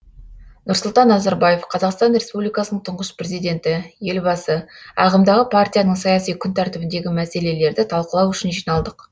нұрсұлтан назарбаев қазақстан республикасының тұңғыш президенті елбасы ағымдағы партияның саяси күн тәртібіндегі мәселелерді талқылау үшін жиналдық